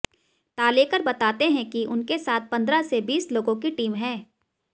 तालेकर बताते हैं कि उनके साथ पंद्रह से बीस लोगों की टीम है